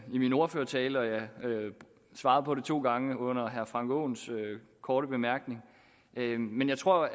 min ordførertale og jeg har svaret på det to gange under herre frank aaens korte bemærkninger men jeg tror